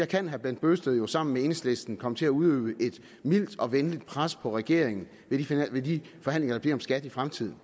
kan herre bent bøgsted jo sammen med enhedslisten komme til at udøve et mildt og venligt pres på regeringen i de forhandlinger der bliver om skatten i fremtiden